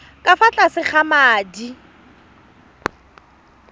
ka fa tlase ga madi